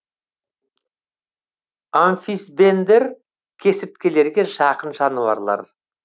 амфисбендер кесірткелерге жақын жануарлар